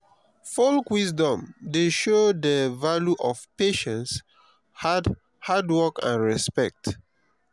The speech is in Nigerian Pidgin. folk wisdom dey show de value of patience hard hard work and respect.